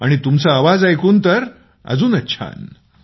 आणि तुमचा आवाज ऐकून तर अजूनच छान